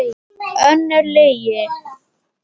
Önnur lygi.